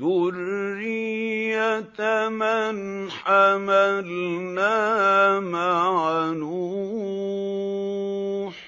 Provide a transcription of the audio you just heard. ذُرِّيَّةَ مَنْ حَمَلْنَا مَعَ نُوحٍ ۚ